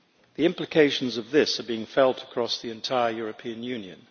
The implications of this are being felt across the entire European Union.